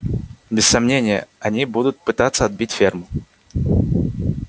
без сомнения они будут пытаться отбить ферму